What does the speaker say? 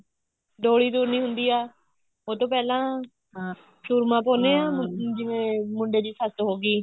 ਡੋਲੀ ਤੁਰਨੀ ਹੁੰਦੀ ਆ ਉਹਤੋਂ ਪਹਿਲਾਂ ਸੂਰਮਾ ਪਾਉਂਦੇ ਹਾਂ ਜਿਵੇਂ ਮੁੰਡੇ ਦੀ ਸੱਸ ਹੋਗੀ